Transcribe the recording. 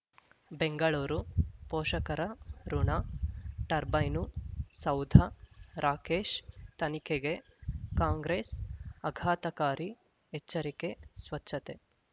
ಬೆಂಗಳೂರು ಪೋಷಕರಋಣ ಟರ್ಬೈನು ಸೌಧ ರಾಕೇಶ್ ತನಿಖೆಗೆ ಕಾಂಗ್ರೆಸ್ ಅಘಾತಕಾರಿ ಎಚ್ಚರಿಕೆ ಸ್ವಚ್ಛತೆ